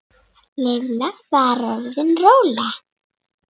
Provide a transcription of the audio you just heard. Lilla var orðin róleg.